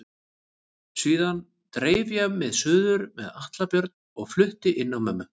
Síðan dreif ég mig suður með Atla Björn og flutti inn á mömmu.